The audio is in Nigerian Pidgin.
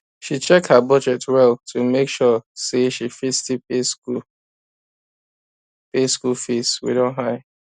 she check her budget well to make sure say she fit still pay school pay school fees wey don high